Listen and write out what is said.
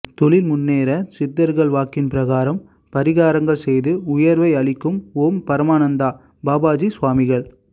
தொழில் முன்னேற சித்தர்கள் வாக்கின் பிரகாரம் பரிகாரங்கள் செய்து உயர்வை அளிக்கும் ஓம் பரமானந்த பாபாஜி சுவாமிகள்